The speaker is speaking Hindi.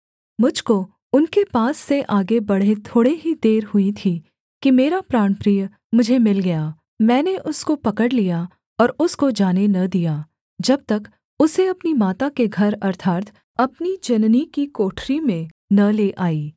मुझ को उनके पास से आगे बढ़े थोड़े ही देर हुई थी कि मेरा प्राणप्रिय मुझे मिल गया मैंने उसको पकड़ लिया और उसको जाने न दिया जब तक उसे अपनी माता के घर अर्थात् अपनी जननी की कोठरी में न ले आई